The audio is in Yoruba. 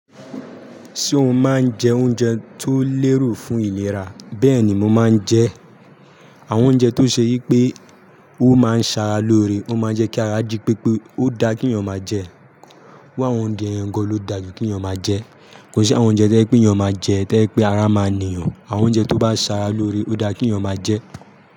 Ṣé o máa ń jẹ oúnjẹ tó lérò fún ìlera? Bẹ́ẹ̀ ni mo máa ń jẹ. Àwọn oúnjẹ tó ṣe yí pé wọ́n máa ń ṣe ara lóore, wọ́n máa ń jẹ́ kí ara jí pé pé ó da kí èeyàn máa jẹ. Irú àwọn oúnjẹ gan ló da jù kí èeyàn máa jẹ. Kò sí àwọn oúnjẹ tẹ́je pé èeyàn máa jẹ, tẹ́ je pé ara máa nìyàn. Àwọn oúnjẹ tó bá ṣe ara lóore ó da kí èeyàn máa jẹ.